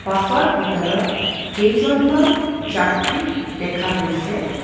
Bus ৰ ভিতৰত কেইজনমান যাত্ৰী দেখা গৈছে।